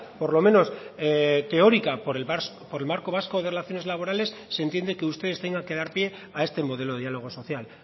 por lo menos teórica por el marco vasco de relaciones laborales se entiende que ustedes tengan que dar pie a este modelo de diálogo social